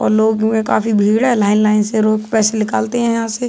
और लोग वे काफ़ी भीड़ हैं लाइन - लाइन से लोग पैसे निकालते है यहाँ से --